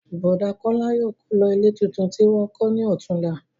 Bọ̀dá Kọ́lá yóò kó lọ ilé tuntun tí wọ́n kọ́ ní ọ̀túnla